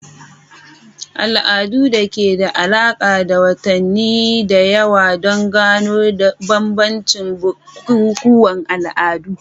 Al'adun da ke da alaƙa da watanni da yawa don gano bambancin bukukuwan al'adu.*